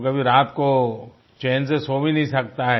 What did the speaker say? उसको कभी रात को चैन से कभी सो भी नहीं सकता